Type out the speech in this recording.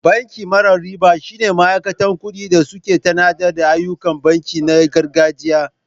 Banki mara riba shine ma'aikatan kuɗi da suƙe tanada ayyukan banki na gargajiya.